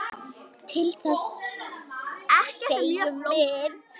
Til þess segjum við.